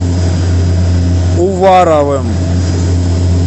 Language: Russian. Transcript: уваровым